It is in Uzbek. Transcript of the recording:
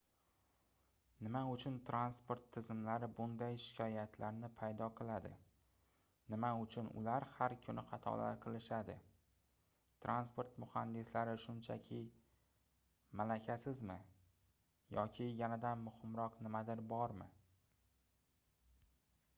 nima uchun transport tizimlari bunday shikoyatlarni paydo qiladi nima uchun ular har kuni xatolar qilishadi transport muhandislari shunchaki malakasizmi yoki yanada muhimroq nimadir bormi